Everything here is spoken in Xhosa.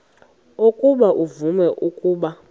ukuba uvume ukuba